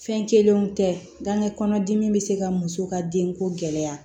Fɛn kelenw tɛ gankɛ kɔnɔ dimi bɛ se ka muso ka denko gɛlɛya